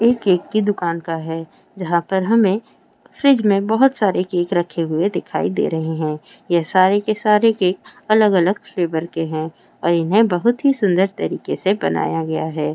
एक केक की दुकान का है जहा पर हमें फ्रिज में बहुत सारे केक रखे हुए दिखाई दे रहे हैं ये सारे सारे केक अलग अलग फ्लेवर के हैं।